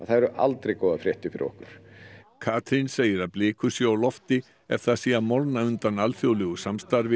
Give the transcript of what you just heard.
það eru aldrei góðar fréttir fyrir okkur Katrín segir að blikur séu á lofti ef það sé að molna undan alþjóðlegu samstarfi